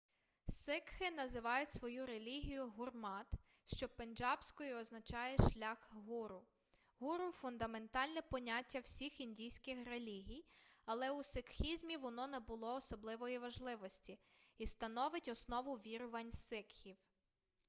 сикхи називають свою релігію гурмат що пенджабською означає шлях гуру гуру фундаментальне поняття всіх індійських релігій але у сикхізмі воно набуло особливої важливості і становить основу вірувань сикхів